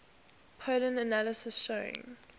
pollen analysis showing